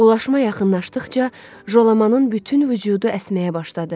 Ulaşma yaxınlaşdıqca Jalamanın bütün vücudu əsməyə başladı.